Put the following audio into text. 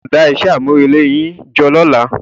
Ẹ gbọdọ̀ dá iṣẹ́ àmúrelé yín jọ lọ́la.